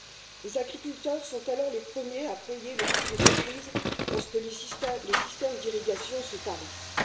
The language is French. Les agriculteurs sont alors les premiers à payer le prix de ces crises lorsque les systèmes d'irrigation se tarissent.